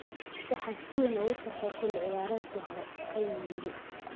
"Waxaan si weyn ugufarxey xilli ciyaareedkii hore," ayuu yiri.